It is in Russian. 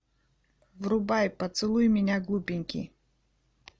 врубай поцелуй меня глупенький